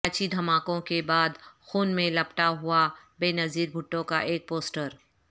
کراچی دھماکوں کے بعد خون میں لپٹا ہوا بینظیر بھٹو کا ایک پوسٹر